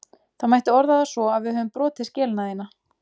Það mætti orða það svo að við höfum brotið skelina þína.